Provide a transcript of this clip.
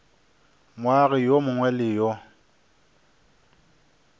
moagi yo mongwe le yo